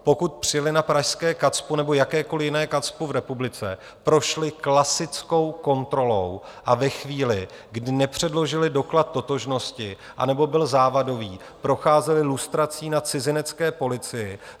Pokud přijeli na pražské KACPU nebo jakékoli jiné KACPU v republice, prošli klasickou kontrolou a ve chvíli, kdy nepředložili doklad totožnosti, anebo byl závadový, procházeli lustrací na cizinecké policii.